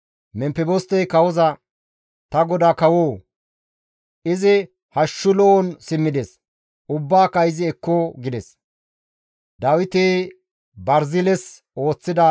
Memfebostey kawoza, «Ta godaa kawoo! Izi hashshu lo7on simmides; ubbaaka izi ekko» gides.